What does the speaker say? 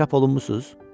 Çap olunmusuz?